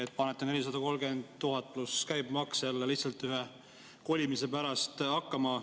Te panete 430 000 eurot pluss käibemaks jälle lihtsalt ühe kolimise pärast hakkama.